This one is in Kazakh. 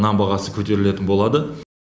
нан бағасы көтерілетін болады